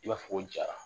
I b'a fɔ ko jara